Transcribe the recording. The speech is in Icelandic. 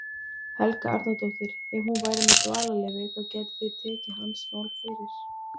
Helga Arnardóttir: Ef hún væri með dvalarleyfi, þá gætu þið tekið hans mál fyrir?